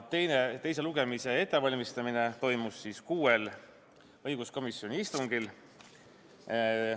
Teise lugemise ettevalmistamine toimus kuuel õiguskomisjoni istungil.